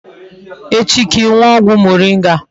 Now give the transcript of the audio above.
Echi ka I nuo ogwu moringa